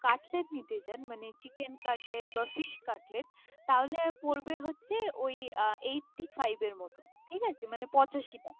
Cutlet মানে chicken cutlet বা fish cutlet তাহলে পরবে হচ্ছে। ও ই আ Eighty five এর মধ্যে মানে পঁচাশি টাকা।